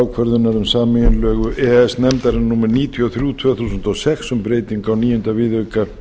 e e s nefndarinnar númer níutíu og þrjú tvö þúsund og sex um breytingu á níunda viðauka